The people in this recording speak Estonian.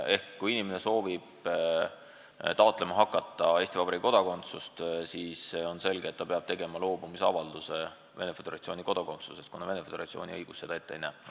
Kui inimene soovib taotlema hakata Eesti Vabariigi kodakondsust, siis on selge, et ta peab tegema avalduse, et loobub Venemaa Föderatsiooni kodakondsusest, kuna Venemaa Föderatsiooni õigus seda ette ei näe.